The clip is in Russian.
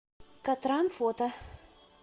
катран фото